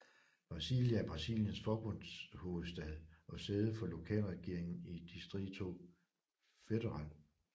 Brasília er Brasiliens forbundshovedstad og sæde for lokalregeringen i Distrito Federal